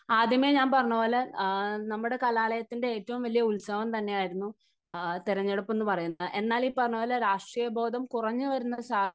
ആദ്യമേ ഞാൻ പറഞ്ഞപോലെ നമ്മുടെ കലാലയത്തിന്റെ ഏറ്റവും വലിയ ഉത്സവം തന്നെയായിരുന്നു ആഹ് തെരഞ്ഞെടുപ്പ് എന്നുപറയുന്നത്. എന്നാൽ ഈ പറഞ്ഞതുപോലെ രാഷ്ട്രീയബോധം കുറഞ്ഞുവരുന്ന സാഹ...